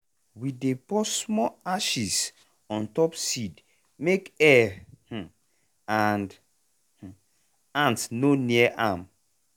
we dey pour small ashes on top seed make air um and um ant no near am.